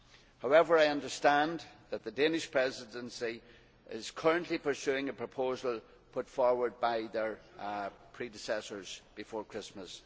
However, I understand that the Danish Presidency is currently pursuing a proposal put forward by their predecessors before Christmas.